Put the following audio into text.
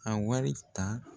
A wari ta